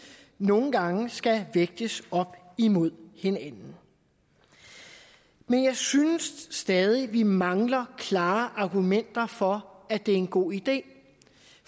nogle gange skal vægtes op imod hinanden men jeg synes stadig at vi mangler klare argumenter for at det er en god idé